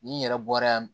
Ni n yɛrɛ bɔra yan